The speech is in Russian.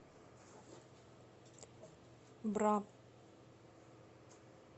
бра